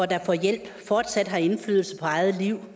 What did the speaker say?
der får hjælp fortsat har indflydelse på eget liv